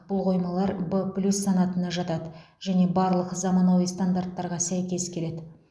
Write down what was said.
бұл қоймалар в плюс санатына жатады және барлық заманауи стандарттарға сәйкес келеді